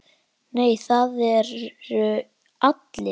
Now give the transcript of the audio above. Nei, það eru allir.